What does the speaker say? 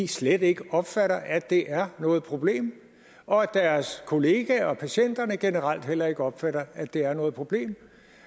slet ikke opfatter at det er noget problem og at deres kollegaer og patienterne generelt heller ikke opfatter at det er noget problem